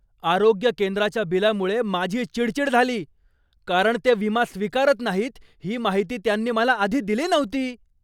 आरोग्य केंद्राच्या बिलामुळे माझी चिडचिड झाली कारण ते विमा स्वीकारत नाहीत ही माहिती त्यांनी मला आधी दिली नव्हती.